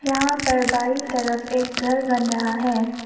यहां पर बाई तरफ एक घर बन रहा है।